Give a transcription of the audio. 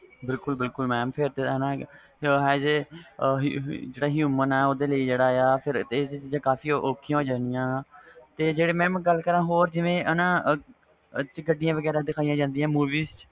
ਬਿਲਕੁਲ ਬਿਲਕੁਲ mam ਜਿਹੜਾ human ਵ ਇਹ ਤੇ ਚੀਜ਼ਾਂ ਬਹੁਤ ਉਖੀਆਂ ਹੋ ਜਾਣੀਆਂ mam ਗੱਲ ਕਰਾ ਹੋਰ ਜਿਵੇ ਗੱਡੀਆਂ